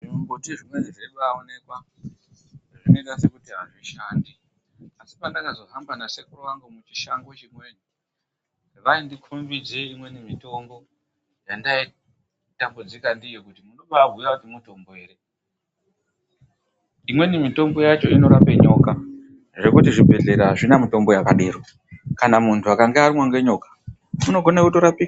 Zvimumbuti zvimweni zveibaaonekwa, zvinoita sekuti azvishandi. Asi pendakazohamba nasekuru angu muchishango chimweni, vaindikhombidze imweni mitombo yendaitambudzika ndiyo kuti munobaabhuya kuti mutombo ere. Imweni mitombo yacho inorape nyoka, zvekuti zvibhedhlera azvina mitombo yakadero. Kana muntu akanga arumwa ngenyoka, unogona kutorapiwa